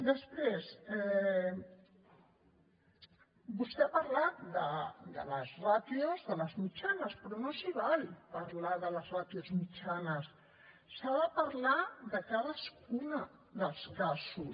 després vostè ha parlat de les ràtios de les mitjanes però no s’hi val parlar de les ràtios mitjanes s’ha de parlar de cadascun dels casos